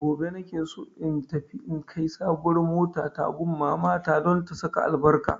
Gobe na ke so in tafi in kai sabuwar motata wurin mamata don ta saka albarka.